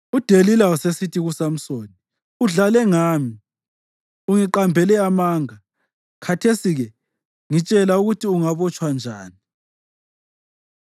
UDelila wasesithi kuSamsoni, “Udlale ngami; ungiqambele amanga. Khathesi-ke ngitshela ukuthi ungabotshwa njani.”